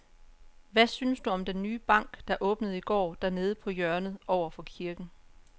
Hvad synes du om den nye bank, der åbnede i går dernede på hjørnet over for kirken?